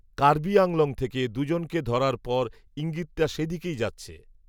কার্বি, আংলং থেকে দুজনকে ধরার পর, ইঙ্গিতটা, সে দিকেই যাচ্ছে